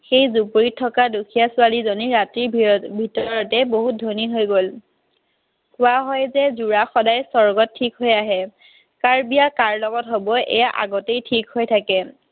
সেই জুপুৰীত থকা দুখীয়া ছোৱালীজনী ৰাতিৰ ভিতৰতে বহুত ধনী হৈ গ'ল। কোৱা হয় যে যোৰা সদায় স্বৰ্গত ঠিক হৈ আহে। কাৰ বিয়া কাৰ লগত হব, এইয়া সদায় আগতেই ঠিক হৈ থাকে।